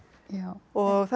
og það er